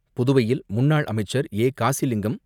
புதுவையில் முன்னாள் அமைச்சர் ஏ. காசிலிங்கம்